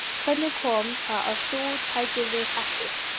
Hvernig kom það til að þú tækir við Hetti?